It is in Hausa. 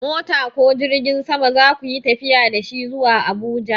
Mota ko jirgin sama za ku yi tafiya da shi zuwa Abuja?